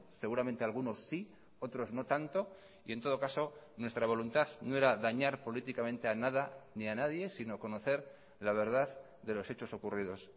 seguramente algunos sí otros no tanto y en todo caso nuestra voluntad no era dañar políticamente a nada ni a nadie sino conocer la verdad de los hechos ocurridos